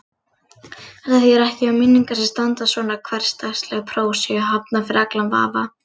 Þetta þýðir ekki að minningar sem standast svona hversdagsleg próf séu hafnar yfir allan vafa.